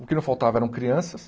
O que não faltava eram crianças.